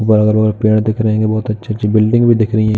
पेड़ दिख रहे हैं कि बहुत अच्छी-अच्छी बिल्डिंग भी दिख रहीं हैं।